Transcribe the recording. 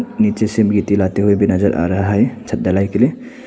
नीचे से मिट्टी लाते हुए भी नजर आ रहा है छत ढलाई के लिए।